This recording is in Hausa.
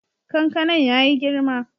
Kankanan ya yi girma.